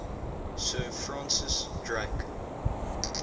sir francis drake